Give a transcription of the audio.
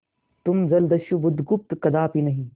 तुम जलदस्यु बुधगुप्त कदापि नहीं